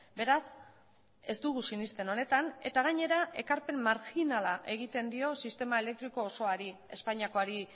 beraz ez dugu sinesten honetan eta gainera ekarpen marjinala egiten dio sistema elektriko osoari espainiakoari